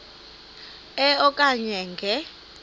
e okanye nge